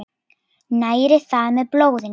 Næri það með blóðinu.